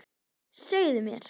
Segðu mér.